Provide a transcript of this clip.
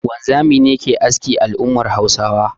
Wanzami ne ke aski a al'ummar Hausawa